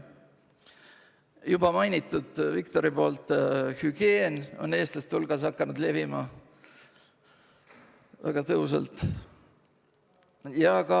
Viktor juba mainis, et hügieen on eestlaste hulgas väga tõhusalt hakanud levima.